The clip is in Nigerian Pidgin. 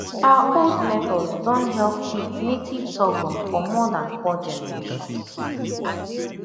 our old method don help keep native sorghum for more than four generations